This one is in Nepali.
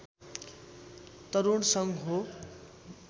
तरूण सङ्घ हो